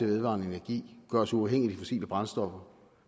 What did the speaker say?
vedvarende energi gør os uafhængige af fossile brændstoffer og